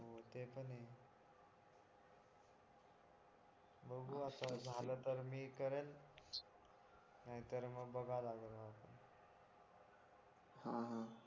बघू आता झालं तर मी करेल नाही तर मग बघा लागलं मला हा हा